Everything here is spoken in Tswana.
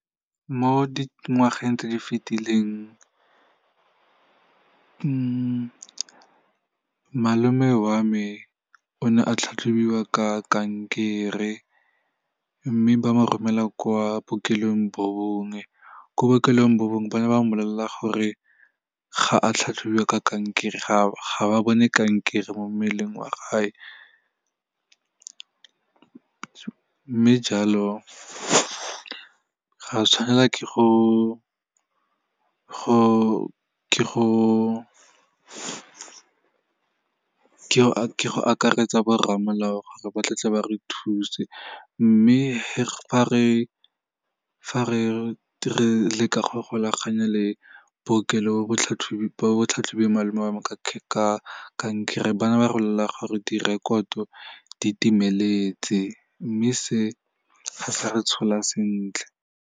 Mo di ngwageng tse di fetileng, malome wa me o ne a tlhatlhobiwa ka kankere, mme ba mo romela kwa bookelong bo bongwe, ko bookelong bo bongwe ba ne ba mmolelela gore ga a tlhatlhobiwa ka kankere, ga ba bone kankere mo mmeleng wa gage. Mme jalo, ra tshwanela ke go akaretsa borramolao gore ba tle ba re thuse, mme fa re leka go golaganya le bookelo, batlhatlhobi ba ba tlhatlhobileng malome wa me ka kankere, ba na ba re bolelela gore direkoto di timeletse, mme se ga sa re tshola sentle.